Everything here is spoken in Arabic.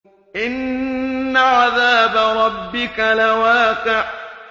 إِنَّ عَذَابَ رَبِّكَ لَوَاقِعٌ